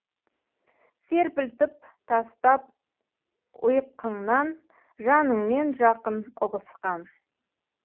серпілтіп тастап ұйққыңнан жаныңмен жақын ұғысқан